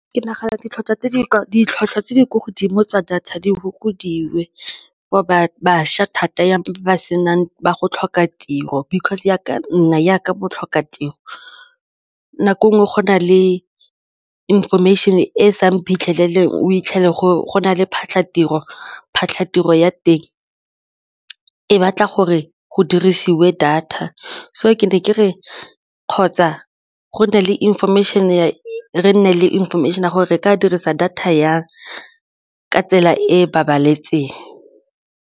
Ke nagana ditlhwatlhwa tse di kwa godimo tsa data di fokodiwe ba bašwa thata ba go tlhoka tiro because jaaka nna jaaka botlhokatiro nako e nngwe go na le information-e e seng phitlheleleng o fitlhele go na le phatlhatiro, phatlhatiro ya teng e batla gore go dirisiwe data so ke ne ke re kgotsa go na le information-e re nne le information-e ya gore re ka dirisa data jang ka tsela e e babalesegileng.